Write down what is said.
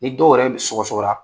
Ni dɔw yɛrɛ bɛ sɔgɔsɔgɔ la